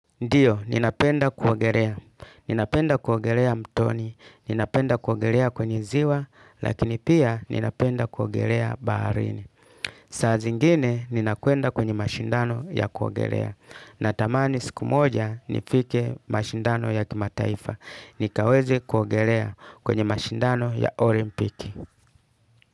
Ndio, ninapenda kuogelea. Ninapenda kuogelea mtoni, ninapenda kuogelea kwenye ziwa, lakini pia ninapenda kuogelea baharini. Saa zingine, ninakwenda kwenye mashindano ya kuogelea. Natamani siku moja, nifike mashindano ya kimataifa. Nikaweze kuogelea kwenye mashindano ya olimpiki.